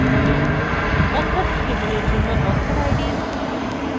authors table জন্য authorid